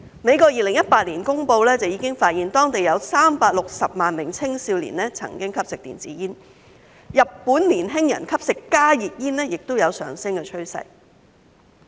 美國在2018年的公布已發現當地有360萬名青少年曾經吸食電子煙，而日本年輕人吸食加熱煙亦有上升趨勢。